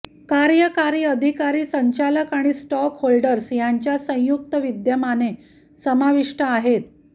कार्यकारी अधिकारी संचालक आणि स्टॉकहोल्डर्स यांच्या संयुक्त विद्यमाने समाविष्ट आहेत